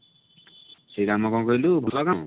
ସେ କାମ କଣ କହିଲୁ ଭଲ କାମ